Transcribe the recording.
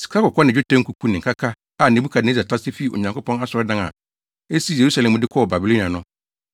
Sikakɔkɔɔ ne dwetɛ nkuku ne nkaka a Nebukadnessar tase fii Onyankopɔn asɔredan a esi Yerusalem no mu de kɔɔ Babilonia no,